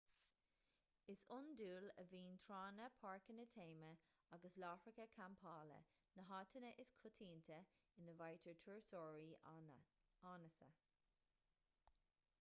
is iondúil a bhíonn tránna páirceanna téama agus láithreacha campála na háiteanna is coitianta ina bhfaightear turasóirí áineasa